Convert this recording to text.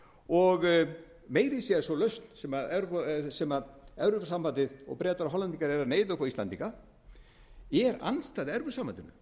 og meira að segja sú lausn sem evrópusambandið og bretar og hollendingar eru að neyða upp á íslendinga er andstæð evrópusambandinu